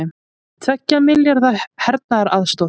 Tveggja milljarða hernaðaraðstoð